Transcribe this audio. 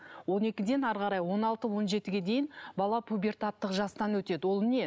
он екіден әрі қарай он алты он жетіге дейін бала пубертаттық жастан өтеді ол не